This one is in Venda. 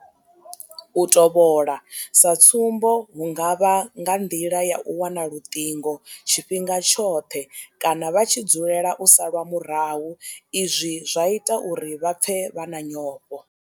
U tovhola sa tsumbo hu nga vha nga nḓila ya u wana luṱingo tshifhinga tshoṱhe kana vha tshi dzulela u salwa murahu izwi zwa ita uri vha pfe vha na nyofho.